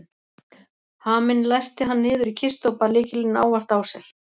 Haminn læsti hann niður í kistu og bar lykilinn ávallt á sér.